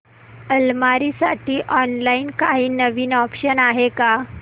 अलमारी साठी ऑनलाइन काही नवीन ऑप्शन्स आहेत का